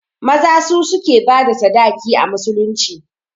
Maza su suke bada sadaki a musulunci